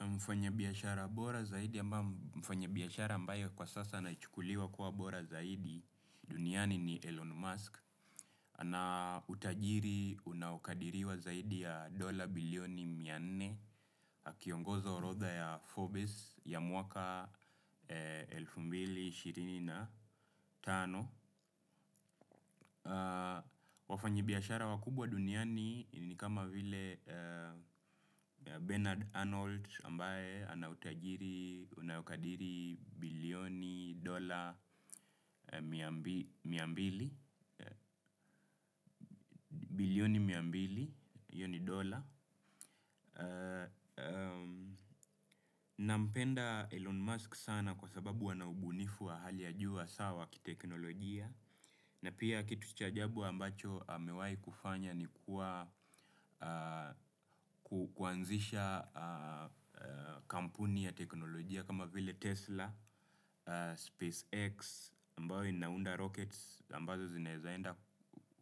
Mfanya biashara bora zaidi ambaye mfanya biashara ambaye kwa sasa naichukuliwa kwa bora zaidi duniani ni Elon Musk. Ana utajiri unaokadiriwa zaidi ya dola bilioni mianne. Akiongozo orodha ya Forbes ya muaka elfu mbili ishirini na tano, wafanyibiashara wakubwa duniani ni kama vile Bernard Arnold ambaye anautajiri, unaokadiri bilioni dola miambili, bilioni miambili, hio ni dola. Na mpenda Elon Musk sana kwa sababu ana ubunifu wa hali ya ju hasa sawa ki teknolojia. Na pia kitu chajabu ambacho amewai kufanya ni kuwa kuanzisha kampuni ya teknolojia kama vile Tesla, SpaceX ambayo inaunda rockets ambazo zinaezaenda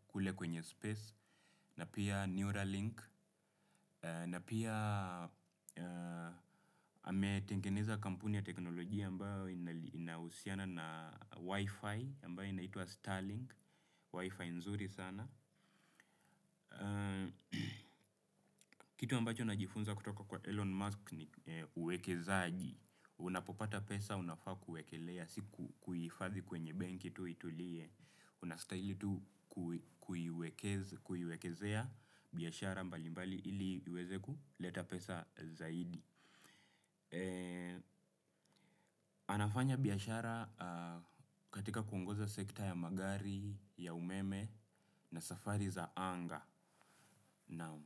kule kwenye space na pia Neuralink, na pia ametengeneza kampuni ya teknolojia ambayo inahusiana na Wi-Fi, ambayo inaitwa Starlink, Wi-Fi nzuri sana. Kitu ambacho na jifunza kutoka kwa Elon Musk ni uwekezaji. Unapopata pesa, unafaa kuekelea, si kuhifadhi kwenye benki tu itulie. Unastahili tu kuiwekezea biashara mbali mbali ili iweze ku leta pesa zaidi. Anafanya biashara katika kuongoza sekta ya magari ya umeme na safari za anga, naam.